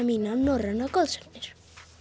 mína norrænar goðsagnir